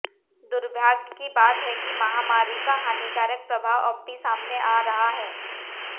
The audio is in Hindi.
दुर्भाग्य की बात है कि महामारी का हानिकारक प्रभाव अब भी सामने आ रहा है